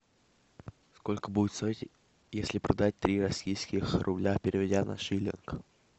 сколько будет стоить если продать три российских рубля переведя на шиллинг